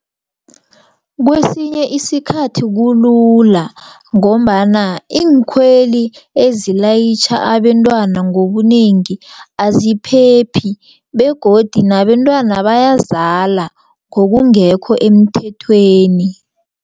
Kwesinye isikhathi kulula ngombana iinkhweli ezilayitjha abentwana ngobunengi aziphephi begodu nabentwana bayazala ngokungekho emthethweni.